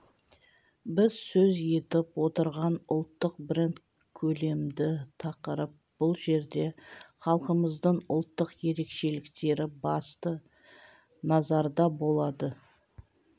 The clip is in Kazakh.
біз сөз етіп отырған ұлттық бренд көлемді тақырып бұл жерде халқымыздың ұлттық ерекшеліктері басты назарда болады